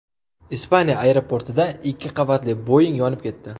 Ispaniya aeroportida ikki qavatli Boeing yonib ketdi .